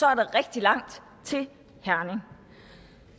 er der rigtig langt til herning